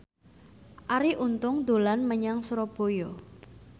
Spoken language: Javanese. Arie Untung dolan menyang Surabaya